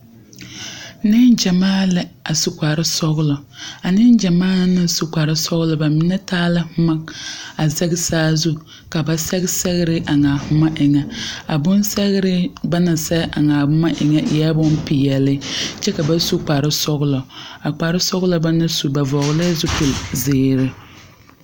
Neŋgyamaa la a su kparre sɔglɔ a neŋgyamaa naŋ su kparre sɔglɔ ba mine taa la boma a zɛge saazu ka ba sɛge sɛgre eŋ a boma eŋa a bonsɛgre ba naŋ sɛge eŋ a boma eŋa e la bonpeɛle kyɛ ka ba su kparre sɔglɔ a kparre sɔglɔ ba naŋ su ba vɔgle la zupili zeere.